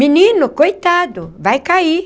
Menino, coitado, vai cair.